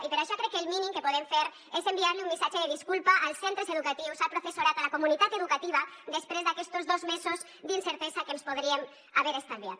i per això crec que el mínim que podem fer és enviar un missatge de disculpa als centres educatius al professorat a la comunitat educativa després d’aquestos dos mesos d’incertesa que ens podríem haver estalviat